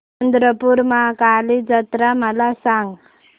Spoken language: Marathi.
चंद्रपूर महाकाली जत्रा मला सांग